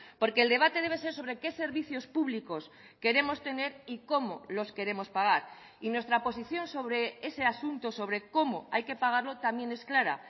porque el debate debe ser sobre qué servicios públicos queremos tener y cómo los queremos pagar y nuestra posición sobre ese asunto sobre cómo hay que pagarlo también es clara